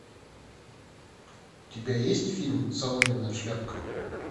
у тебя есть фильм соломенная шляпка